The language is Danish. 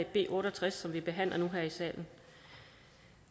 b otte og tres som vi behandler nu her i salen